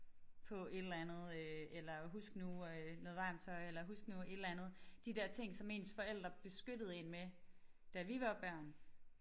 På et eller andet øh eller husk nu øh noget varmt tøj eller husk nu et eller andet de der ting som ens forældre beskyttede én med da vi var børn